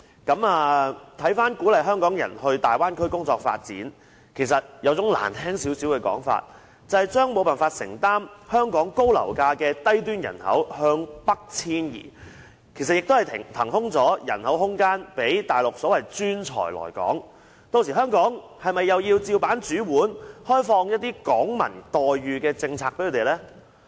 鼓勵香港人到大灣區發展，比較難聽的說法就是要將無法承擔香港高樓價的低端人口北移，騰出空間讓所謂的內地專才來港，屆時香港是否也要同樣開放一些"港民待遇"給他們呢？